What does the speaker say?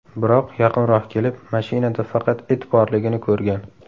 Biroq yaqinroq kelib, mashinada faqat it borligini ko‘rgan.